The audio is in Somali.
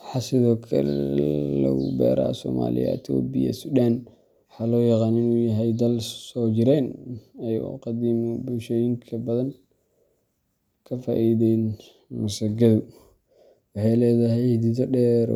Waxaa sidoo kale aad loogu beeraa Soomaaliya, Itoobiya, iyo Suudaan, waxaana loo yaqaanaa inuu yahay dal soo jireen ah oo qadiimi ah oo ay bulshooyin badan ka faa’iideen. Masagadu waxay leedahay xididdo dheer